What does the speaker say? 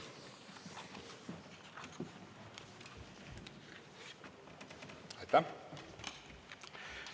Aitäh!